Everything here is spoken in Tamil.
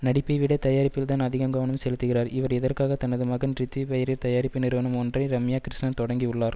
நடிப்பைவிட தயாரிப்பில்தான் அதிகம் கவனம் செலுத்துகிறார் இவர் இதற்காக தனது மகன் ரித்வி பெயரில் தயாரிப்பு நிறுவனம் ஒன்றை ரம்யா கிருஷ்ணன் தொடங்கி உள்ளார்